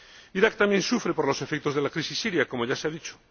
Irak también sufre por los efectos de la crisis siria, como ya se ha dicho.